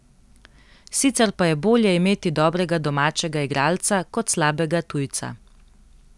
Sicer pa je bolje imeti dobrega domačega igralca kot slabega tujca.